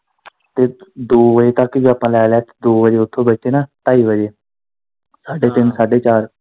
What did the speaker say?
ਤੇ ਦੋ ਵਜੇ ਤੱਕ ਵੀ ਆਪਾਂ ਲੈ ਲੈ ਕੇ ਦੋ ਵਜੇ ਉੱਥੋ ਬੈਠੇ ਨਾ ਢਾਈ ਵਜੇ, ਸਾਢੇ ਤਿੰਨ, ਸਾਢੇ ਚਾਰ।